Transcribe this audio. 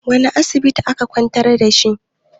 wane asibiti aka kwantar da shi?